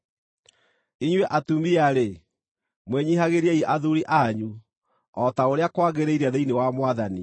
Inyuĩ atumia-rĩ, mwĩnyiihagĩriei athuuri anyu, o ta ũrĩa kwagĩrĩire thĩinĩ wa Mwathani.